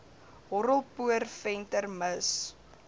horrelpoot venter mis